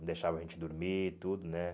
Não deixava a gente dormir e tudo, né?